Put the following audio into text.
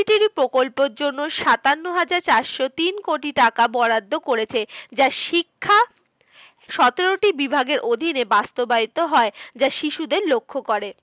প্রকল্পের জন্য সাতান্ন হাজার চারশো তিন কোটি টাকা বরাদ্দ করেছে। যা শিক্ষা সতেরোটি বিভাগের অধীনে বাস্তবায়িত হয়, যা শিশুদের লক্ষ্য করে।